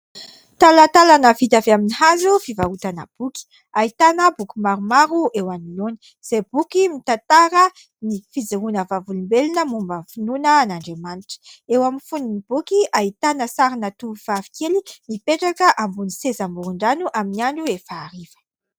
Talantalana vita avy amin'ny hazo fivarotana boky. Ahitana boky maromaro eo anoloany izay boky mitantara ny fijoroana vavolombelona momba ny finoana an'Andriamanitra. Eo amin'ny fonon'ny boky ahitana sarina tovovavikely mipetraka ambony seza amoron-drano amin'ny andro efa hariva.